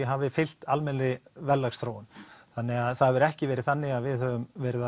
hafi fylgt almennri verðlagsþróun þannig að það hefur ekki verið þannig að við höfum verið